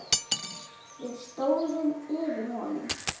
Við stóðum yfir honum.